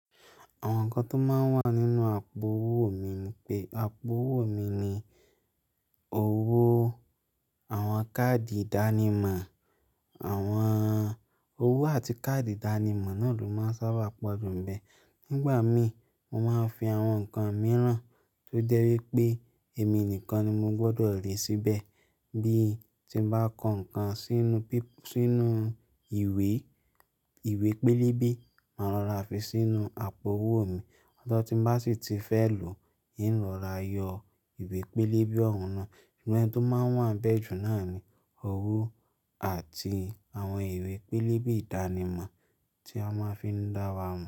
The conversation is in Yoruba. Àwọn nǹkan tó máa ń wà nínú àpò owó mi ni pé, àpò owó mi ni owó, àwọn káàdì ìdánimọ̀. Àwọn owó àti káàdì ìdánimọ̀ náà ló máa ń sábà pọ̀jù ń bẹ. Nígbà mí, mo máa ń fi àwọn nǹkan mìíràn tó jẹ́ wí pé èmi nìkan ni mo gbọdọ̀ rí síbẹ̀ bí ti ń bá kọ nǹkan sínú píp-- sínú ìwé, ìwé pélébé máa rọra fi sínú àpò owó mi. Tọ tí ń bá sì ti fẹ́ lò iń rọra yọ ìwé pélébé òun náà. Inú ẹ̀ tí ó máa ń wà ń bẹ́ jù náà ni owó àti àwọn ìwé pélébé ìdánimọ̀ tí a máa fi ń dá wa mọ̀